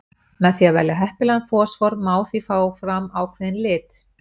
Með því að velja heppilegan fosfór má því fá fram ákveðinn lit.